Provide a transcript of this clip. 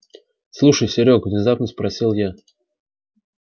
слушай серёг внезапно спросила я